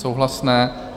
Souhlasné.